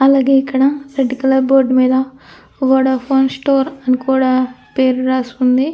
అలాగే ఇక్కడ red colour board మీద వోడాఫోన్ స్టోర్ అని కూడా పేరు రాసి ఉంది.